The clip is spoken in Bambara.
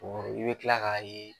i be tila k'a ye